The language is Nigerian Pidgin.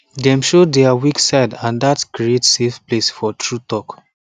dem show their weak side and dat create safe place for true talk